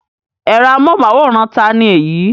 Ẹ̀rọ amóhùmáwòhán ta ni èyí?